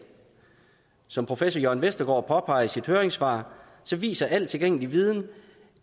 som professor jørn vestergaard påpeger i sit høringssvar viser al tilgængelig viden